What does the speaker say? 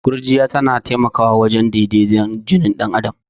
Gurjiya tana taimakwa wajen daidaton jini dan adam.